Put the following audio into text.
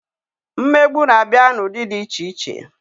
Mmegbu na-abịa n'ụdị dị iche iche